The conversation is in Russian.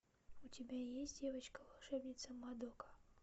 у тебя есть девочка волшебница мадока